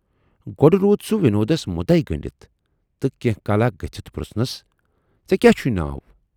گۅڈٕ روٗد سُہ وِنودس مُدے گٔنڈِتھ تہٕ کینہہ کالاہ گٔژھِتھ پرُژھنَس ژے کیاہ چھُے ناو؟